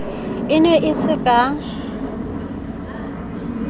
e ne e se ka